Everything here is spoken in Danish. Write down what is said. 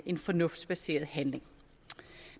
en fornuftsbaseret handling